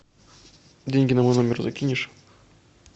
деньги на мой номер закинешь